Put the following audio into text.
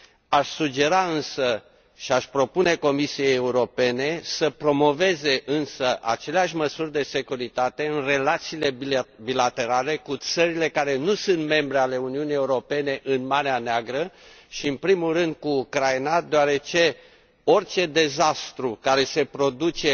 Aș sugera însă, și aș propune Comisiei Europene, să promoveze aceleași măsuri de securitate în relațiile bilaterale cu țările care nu sunt membre ale Uniunii Europene în Marea Neagră, și, în primul rând, cu Ucraina, deoarece orice dezastru care se produce